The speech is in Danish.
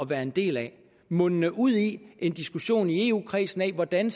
være en del af mundende ud i en diskussion i eu kredsen af hvordan